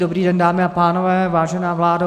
Dobrý den, dámy a pánové, vážená vládo.